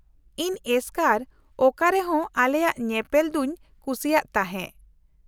-ᱤᱧ ᱮᱥᱠᱟᱨ ᱚᱠᱟᱨᱮᱦᱚᱸ ᱟᱞᱮᱭᱟᱜ ᱧᱮᱯᱮᱞ ᱫᱚᱧ ᱠᱩᱥᱤᱭᱟᱜ ᱛᱟᱦᱮᱸ ᱾